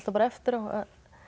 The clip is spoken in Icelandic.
bara eftir á